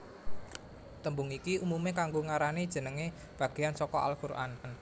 Tembung iki umumé kanggo ngarani jenengé bagéyan saka al Qur an